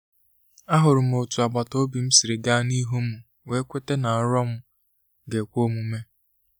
A hụrụ m otú àgbàtà-obim sịrị ga n'ihu mụ were kweta ná nrọ m ga ekwe omume